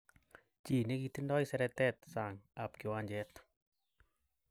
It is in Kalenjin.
Chi nikitindo seretet sang ab kiwanjet.